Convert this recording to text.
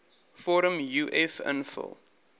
vorm uf invul